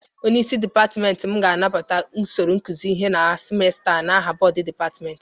Onyeisi dịpatmenti m ga-anabata usoro ịkụzị ihe na simesta a n'aha bọdụ dịpatmenti.